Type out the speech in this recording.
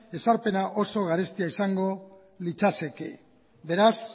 ezarpena oso garestia izango litzateke beraz